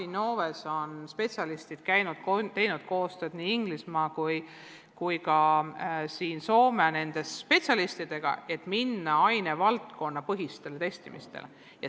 Innove spetsialistid on käinud ja teinud koostööd nii Inglismaa kui ka Soome spetsialistidega, et minna üle ainevaldkonnapõhisele testimisele.